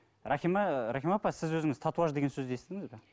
рахима апа сіз өзіңіз татуаж деген сөзді естідіңіз бе